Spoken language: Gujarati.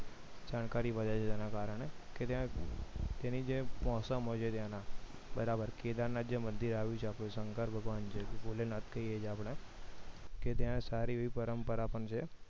જાણકારી વધે છે એના કારણે કે ત્યાં જે મોસમ હોય છે ત્યાંના બરોબર કેદારનાથ નું જે મંદિર આવેલું છે શંકર ભગવાન ભોલેનાથ કહે છે આપણે કે ત્યાં સારી એવી પરંપરા પણ છે